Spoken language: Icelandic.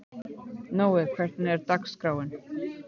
Nói, hvernig er dagskráin?